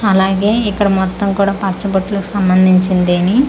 అలాగే ఇక్కడ మొత్తం కూడా పచ్చ బొట్లు కీ సంబందించెని ట--